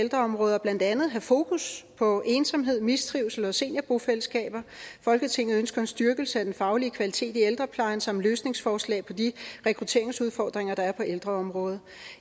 ældreområdet og blandt andet have fokus på ensomhed mistrivsel og seniorbofællesskaber folketinget ønsker en styrkelse af den faglige kvalitet i ældreplejen samt løsningsforslag på de rekrutteringsudfordringer der er på ældreområdet